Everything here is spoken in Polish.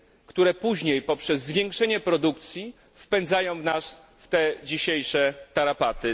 które później poprzez zwiększenie produkcji wpędzają nas w dzisiejsze tarapaty.